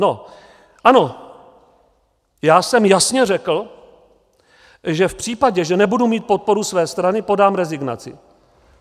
No ano, já jsem jasně řekl, že v případě, že nebudu mít podporu své strany, podám rezignaci.